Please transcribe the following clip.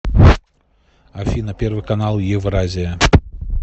афина первый канал евразия